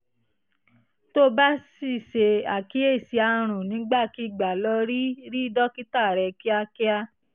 tó o bá sì ṣe àkíyèsí àrùn nígbàkigbà lọ rí rí dókítà rẹ kíákíá